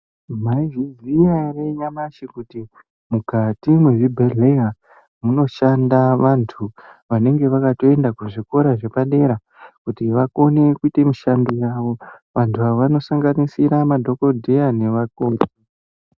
Mazviziya ere nyamashi kuti mukati muzvibhehlera munoshande andu anenge akatoenda kuzvikora zvepadera kuti vakone mushando yavo andu avo anosanganisire madhokotera nevakoti.